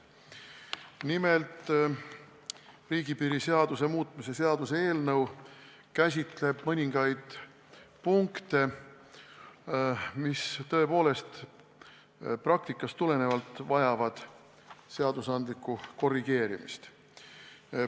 Nimelt, riigipiiri seaduse muutmise seaduse eelnõu käsitleb mõningaid punkte, mis tõepoolest praktikast tulenevalt vajavad seadusandlikku korrigeerimist.